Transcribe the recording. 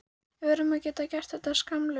Við verðum að geta gert þetta skammlaust.